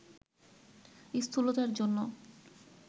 স্থূলতার জন্য